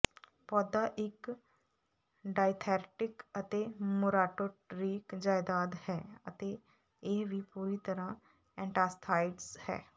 ਪੌਦਾ ਇੱਕ ਡਾਇਓਥਰੈਟਿਕ ਅਤੇ ਮੂਰਾਟੋਰੀਕ ਜਾਇਦਾਦ ਹੈ ਅਤੇ ਇਹ ਵੀ ਪੂਰੀ ਤਰ੍ਹਾਂ ਐਨਾਸਟੀਥਾਈਜ਼ਟਸ ਹੈ